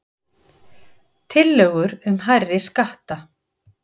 Tillögur um hærri skatta